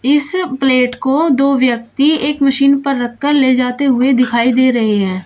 इस प्लेट को दो व्यक्ति एक मशीन पर रखकर ले जाते हुए दिखाई दे रहे हैं।